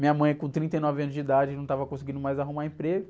Minha mãe com trinta e nove anos de idade não estava conseguindo mais arrumar emprego.